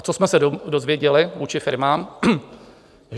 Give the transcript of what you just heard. A co jsme se dozvěděli vůči firmám?